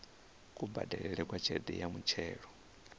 kubadelele kwa tshelede ya muthelo